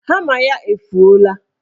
Hama ya efuola.